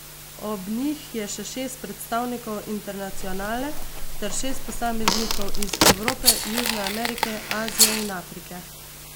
Ob njih je še šest predstavnikov Internacionale ter šest posameznikov iz Evrope, Južne Amerike, Azije in Afrike.